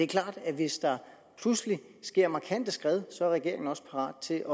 klart at hvis der pludselig sker markante skred så er regeringen også parat til